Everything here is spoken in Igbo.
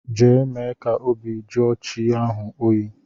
Jee mee ka obi jụọ chi ahu oyi!!